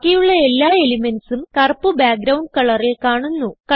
ബാക്കിയുള്ള എല്ലാ elementsഉം കറുപ്പ് ബാക്ക്ഗ്രൌണ്ട് കളറിൽ കാണുന്നു